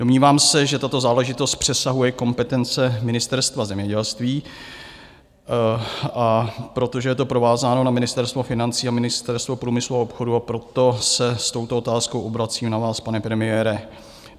Domnívám se, že tato záležitost přesahuje kompetence Ministerstva zemědělství, a protože je to provázáno na Ministerstvo financí a Ministerstvo průmyslu a obchodu, proto se s touto otázkou obracím na vás, pane premiére.